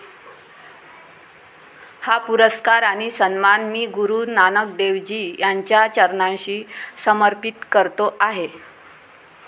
हा पुरस्कार आणि सन्मान मी गुरू नानक देव जी यांच्या चरणांशी समर्पित करतो आहे